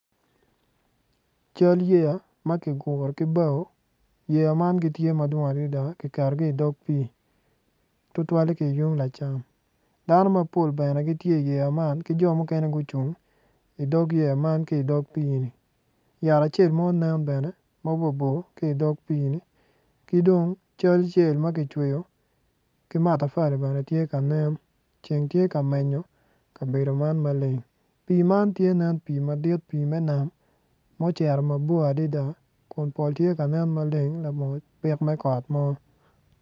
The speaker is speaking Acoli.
Cal yeya ma kiguru ki bao yeya man gitye madwong adada kiketogi idog pii tutwale ki yung lacam dano mapol bene gitye iyeya man ki jo mukene gucung idog yeya man ki dog pii-ni yat acel ma onen bene mabor bor ki dog pii-ni ki dong cal cel ma kicweyo ki matafali bene tye kanen ceng tye ka menyo kabeo man maleng pii man tye nen pii man tye nen pii me nam ma ocito mabor adada kun pol tye kanen maleng labongo byek me kot mo